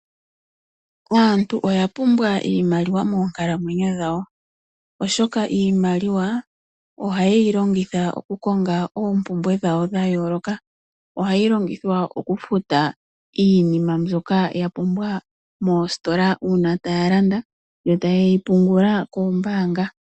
Aantu oya pumbwa iimaliwa moonkalamwenyo dhawo oshoka iimaliwa ohaye yi longitha okukonga oompumbwe dhawo dha yooloka. Ohayi longithwa okufuta iinima mbyoka ya pumbiwa moositola uuna taa landa yo taye yi pungula kombaanga.